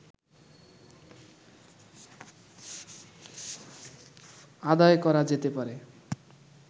আদায় করা যেতে পারে